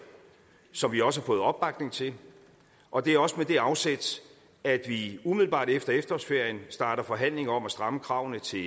som vi også har fået opbakning til og det er også med det afsæt at vi umiddelbart efter efterårsferien starter forhandlinger om at stramme kravene til